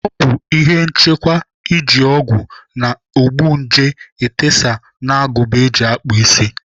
Ọ bụ ihe nchekwa iji ọgwụ na-egbu nje etesa n'agụba eji akpụ isi.